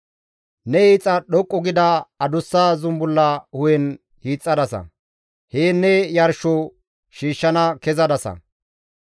Ne hiixa dhoqqu gida adussa zumbulla hu7en hiixxadasa; heen ne yarsho shiishshana kezadasa.